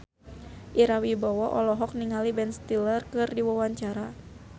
Ira Wibowo olohok ningali Ben Stiller keur diwawancara